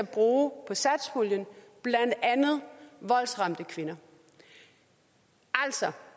bruger på satspuljen blandt andet voldsramte kvinder altså